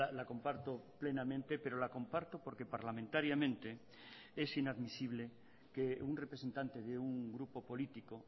la comparto plenamente pero la comparto porque parlamentariamente es inadmisible que un representante de un grupo político